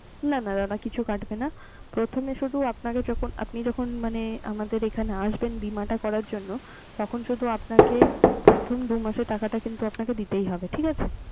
না না ওমন কিছু কাটবে না। প্রথমে শুধু আপনাকে যখন, আপনি যখন মানে আমাদের এখানে আসবেন বীমাটা করার জন্য। তখন শুধু প্রথম দুই মাসের টাকাটা কিন্তু দিতেই হবে। ঠিক আছে